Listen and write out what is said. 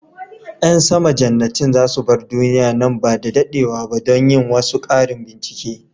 Yan sama jannatin za su bar duniya nan ba da dadewa ba don yin wasu karin bincike.